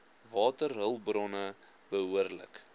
waterhulp bronne behoorlik